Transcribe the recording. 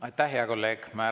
Aitäh, hea kolleeg!